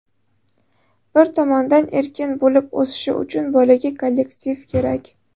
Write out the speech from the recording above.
Bir tomondan, erkin bo‘lib o‘sishi uchun bolaga kollektiv kerak.